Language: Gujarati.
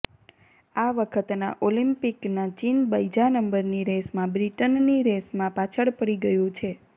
આ વખતના ઓલિમ્પિકમાં ચીન બીજા નંબરની રેસમાં બ્રિટનની રેસમાં પાછળ પડી ગયું છે